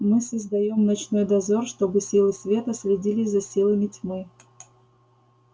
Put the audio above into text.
мы создаём ночной дозор чтобы силы света следили за силами тьмы